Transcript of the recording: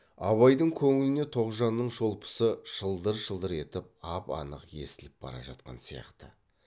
абайдың көңіліне тоғжанның шолпысы шылдыр шылдыр етіп ап анық естіліп бара жатқан сияқты